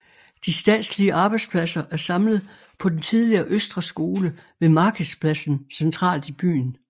De statslige arbejdspladser er samlet på den tidligere Østre Skole ved Markedspladsen centralt i byen